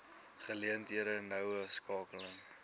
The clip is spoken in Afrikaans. geleenthede noue skakeling